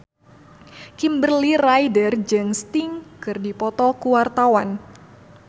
Kimberly Ryder jeung Sting keur dipoto ku wartawan